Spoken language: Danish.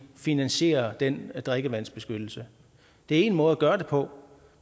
finansiere den drikkevandsbeskyttelse det er en måde at gøre det på